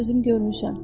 Özüm görmüşəm.